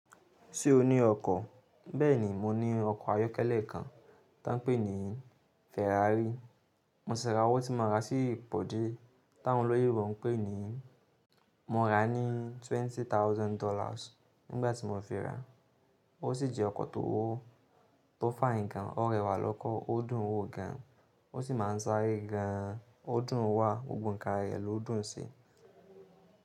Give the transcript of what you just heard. Ṣé o ní ọkọ̀? Bẹ́ẹ̀ni, mo ní ọkọ̀ ayọ́kẹ́lẹ́ kan tá ń pè ní Ferrari. Mo ṣẹ̀ rà owó tí mo ra sí Pòdé táwọn olóyè wọn pè ní, mo ra ní twenty thousand dollars nígbà tí mo fi ra. Ó sì jẹ́ ọkọ̀ tó wó, tó fine gan, ó rẹwà lọ́kọ, ó dùn ún wò gan, ó sì má ń sáré gan, ó dùn ún wà, gbogbo ǹkan rẹ̀ ló dùn ún ṣe.